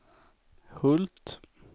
Hult